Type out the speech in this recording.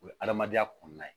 O ye adamadenya kɔnɔna ye